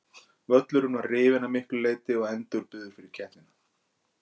Völlurinn var rifinn að miklu leiti og endurbyggður fyrir keppnina.